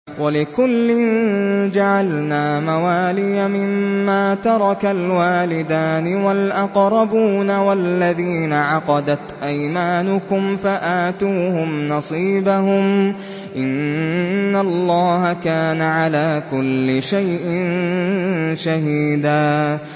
وَلِكُلٍّ جَعَلْنَا مَوَالِيَ مِمَّا تَرَكَ الْوَالِدَانِ وَالْأَقْرَبُونَ ۚ وَالَّذِينَ عَقَدَتْ أَيْمَانُكُمْ فَآتُوهُمْ نَصِيبَهُمْ ۚ إِنَّ اللَّهَ كَانَ عَلَىٰ كُلِّ شَيْءٍ شَهِيدًا